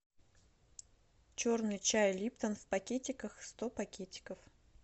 черный чай липтон в пакетиках сто пакетиков